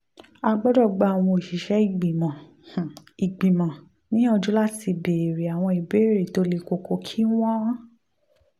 a gbọ́dọ̀ um gba àwọn òṣìṣẹ́ ìgbìmọ̀ um ìgbìmọ̀ um níyànjú láti béèrè àwọn ìbéèrè tó le koko kí wọ́n